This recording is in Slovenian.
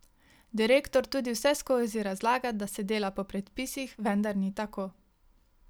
Direktor tudi vseskozi razlaga, da se dela po predpisih, vendar ni tako.